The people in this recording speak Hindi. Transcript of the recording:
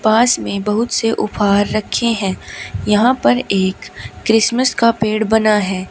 पास में बहुत से उपहार रखे हैं। यहां पर एक क्रिसमस का पेड़ बना है।